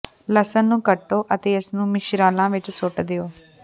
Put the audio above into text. ਲਸਣ ਨੂੰ ਕੱਟੋ ਅਤੇ ਇਸ ਨੂੰ ਮਿਸ਼ਰਲਾਂ ਵਿੱਚ ਸੁੱਟ ਦਿਓ